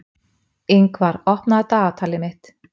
Yngvar, opnaðu dagatalið mitt.